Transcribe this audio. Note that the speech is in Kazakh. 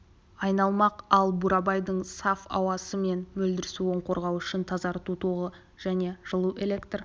айналмақ ал бурабайдың саф ауасы мен мөлдір суын қорғау үшін тазарту тоғаны мен жылу электр